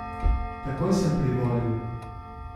Takoj sem privolil.